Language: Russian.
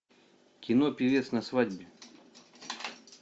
кино певец на свадьбе